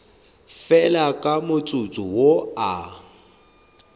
fela ka motsotso wo a